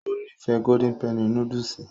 Ó nífẹ̀ẹ́ golden penny núdúsì